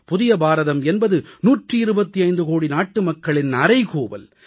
புதிய பாரதம் என்பது 125 கோடி நாட்டு மக்களின் அறைகூவல்